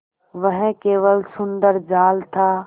वह केवल सुंदर जाल था